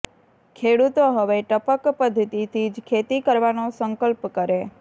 ખેડૂતો હવે ટપક પદ્ધિતિથી જ ખેતી કરવાનો સંકલ્પ કરે